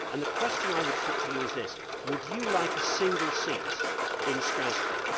The question I would put to you is this would you like a single seat in Strasbourg?